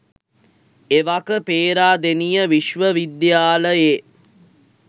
එවක පේරාදෙණිය විශ්ව විද්‍යාලයේ